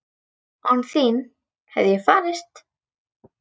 Án þín hefði ég farist?